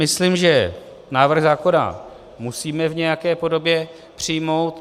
Myslím, že návrh zákona musíme v nějaké podobě přijmout.